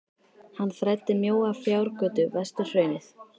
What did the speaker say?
Hann þræddi mjóa fjárgötu vestur hraunið.